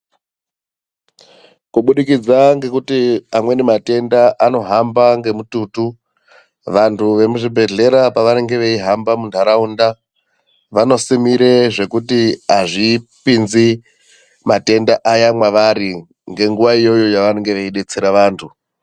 Kubudikidza ngekuti amweni matenda anohamba ngemututu. Vantu vemuzvhibhedhlera pavanenge veihamba muntaraunda. Vanosimire zvekuti hazvipinzi matenda ayani mwavari ngenguva iyoyo yavanenge veibetsera vantu.